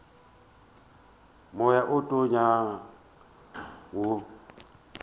moya wo o tonyago o